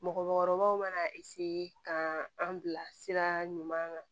Mɔgɔkɔrɔbaw mana ka an bila sira ɲuman kan